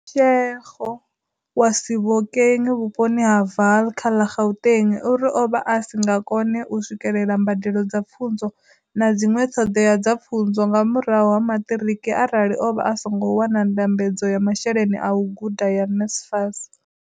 Mashego wa Sebokeng vhuponi ha Vaal kha ḽa Gauteng uri o vha a si nga kone u swikelela mbadelo dza pfunzo na dziṅwe ṱhoḓea dza pfunzo nga murahu ha maṱiriki arali o vha a songo wana ndambedzo ya masheleni a u guda ya NSFAS.